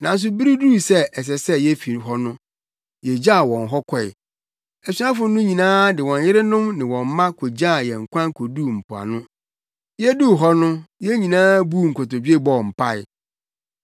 Nanso bere duu sɛ ɛsɛ sɛ yefi hɔ no, yegyaw wɔn hɔ kɔe. Asuafo no nyinaa ne wɔn yerenom ne wɔn mma kogyaa yɛn kwan koduu mpoano. Yeduu hɔ no yɛn nyinaa buu nkotodwe bɔɔ mpae.